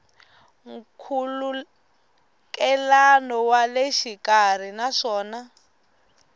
nkhulukelano wa le xikarhi naswona